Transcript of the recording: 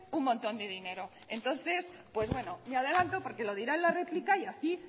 un montón de dinero eskerrik asko entonces pues bueno me adelante porque lo dirá en la réplica y así